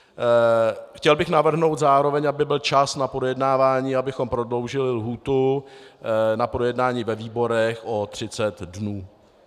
Chtěl bych navrhnout zároveň, aby byl čas na projednávání, abychom prodloužili lhůtu na projednání ve výborech o 30 dnů.